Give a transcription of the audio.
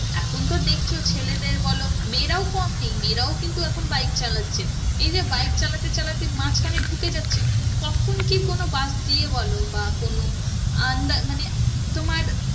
এখন তো দেখছো ছেলেদের বলো মেয়েরাও কম নেই মেয়েরাও কিন্তু এখন bike চালাচ্ছে এই যে bike চালাতে চালাতে মাঝখানে ঢুকে যাচ্ছে কখন কি কোনো bus দিয়ে বলো বা কোনো under মানে তোমার